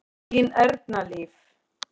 Þín Erna Líf.